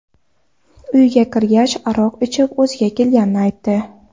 Uyga kirgach, aroq ichib o‘ziga kelganini aytdi.